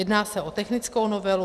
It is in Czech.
Jedná se o technickou novelu.